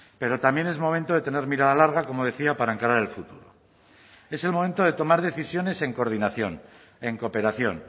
pero también es momento de tener mirada larga como decía para encarar el futuro es el momento de tomar decisiones en coordinación en cooperación